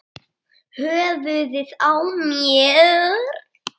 Brimið brotnar við naust.